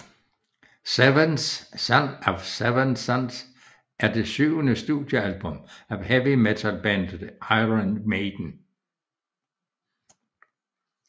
Seventh Son of a Seventh Son er det syvende studiealbum af heavy metal bandet Iron Maiden